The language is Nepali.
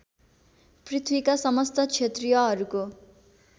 पृथ्वीका समस्त क्षत्रियहरूको